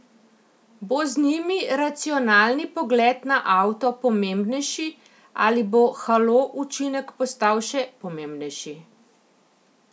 Bo z njimi racionalni pogled na avto pomembnejši ali bo halo učinek postal še pomembnejši?